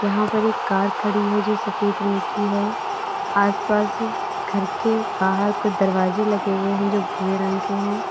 यहां पर एक कार खड़ी है जो सफेद रंग की है आसपास घर के बाहर कुछ दरवाजे लगे हुए हैं जो भूरे रंग के हैं।